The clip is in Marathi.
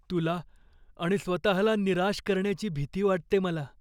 तुला आणि स्वतःला निराश करण्याची भीती वाटते मला.